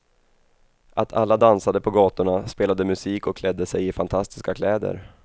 Att alla dansade på gatorna, spelade musik och klädde sig i fantastiska kläder.